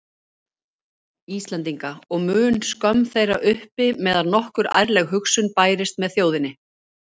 Íslendinga, og mun skömm þeirra uppi meðan nokkur ærleg hugsun bærist með þjóðinni.